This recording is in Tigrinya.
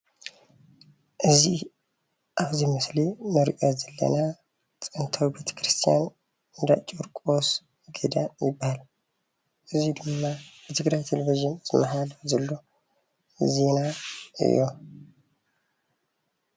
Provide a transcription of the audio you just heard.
እዚ ኣብዚ ምስሊ እንሪኦ ዘለና ጥንታዊ ቤተክርስትያን እንዳ ጨርቆስ ገዳም ይባሃል፡፡ እዚ ድማ ብትግራይ ቴሌቭዥን ዝመሓላለፍ ዘሎ ዜና እዩ፡፡